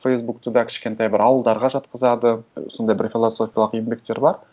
фейсбукты да кішкентай бір ауылдарға жатқызады сондай бір философиялық еңбектер бар